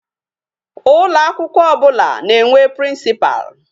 Ụlọ akwụkwọ ọbụla na-enwe principal.